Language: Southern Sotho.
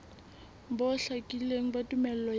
bo hlakileng ba tumello ya